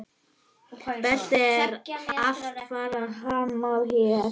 Beltið er alfarið hannað hér.